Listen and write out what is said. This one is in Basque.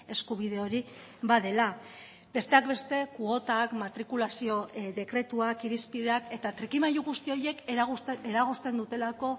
eskubide hori badela besteak beste kuotak matrikulazio dekretuak irizpideak eta trikimailu guzti horiek eragozten dutelako